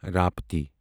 رپتی